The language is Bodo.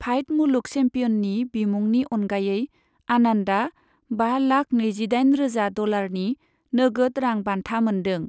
फाइड मुलुग चेम्पियननि बिमुंनि अनगायै, आनन्दआ बा लाख नैजिदाइन रोजा डलारनि नोगोद रां बान्था मोनदों।